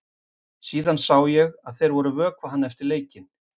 Síðan sá ég að þeir voru að vökva hann eftir leikinn.